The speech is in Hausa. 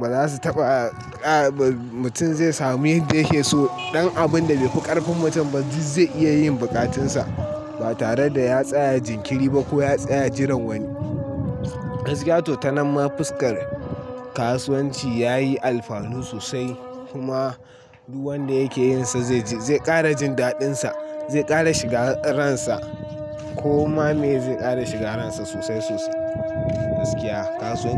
Ba za su taɓa a, a mutum zai samu ya dake so. Dan abun da bai fi ƙarfin mutum ba duk zai iya yin buƙatunsa ba tare da ya tsaya jinkiri ba ko ya tsaya jiran wani. Gaskiya to ta nan ma fuskar kasuwanci ya yi alfanu sosai kuma duk wanda yake yin sa zai ƙara jin daɗinsa, zai ƙara shiga ransa kuma mai zai ƙara shiga ransa sosai sosai gaskiya kasuwanci.